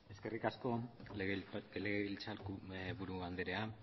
eskerrik asko legebiltzar buru anderea